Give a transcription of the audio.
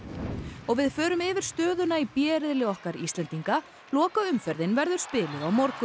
og við förum yfir stöðuna í b riðli okkar Íslendinga lokaumferðin verður spiluð á morgun